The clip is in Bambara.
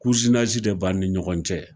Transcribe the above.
de b'an ni ɲɔgɔn cɛ.